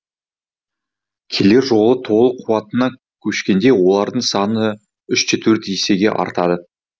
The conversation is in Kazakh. келер жылы толық қуатына көшкенде олардың саны үш төрт есеге артады